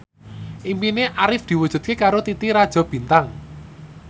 impine Arif diwujudke karo Titi Rajo Bintang